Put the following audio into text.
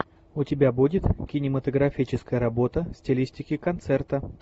у тебя будет кинематографическая работа в стилистике концерта